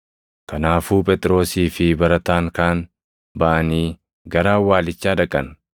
Kanaafuu Phexrosii fi barataan kaan baʼanii gara awwaalichaa dhaqan.